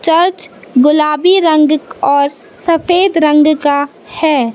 Church गुलाबी रंग और सफेद रंग का है।